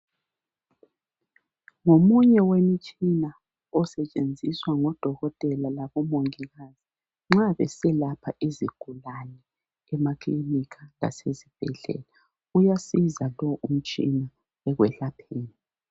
Ngomunye wemitshina osetshenziswa ngodokotela labomongikazi nxa beselapha izigulane emakilinika lasezibhedlela . Uyasiza lo umtshina ekuyelapheni.